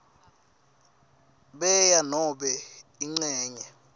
bea nobe incenye